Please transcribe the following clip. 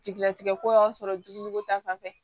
Jigilatigɛ ko y'an sɔrɔ juguni ko ta fanfɛ